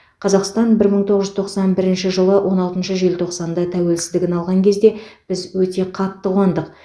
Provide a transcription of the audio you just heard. қазақстан бір мың тоғыз жүз тоқсан бірінші жылы он алтыншы желтоқсанда тәуелсіздігін алған кезде біз өте қатты қуандық